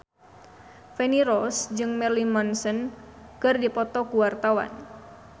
Feni Rose jeung Marilyn Manson keur dipoto ku wartawan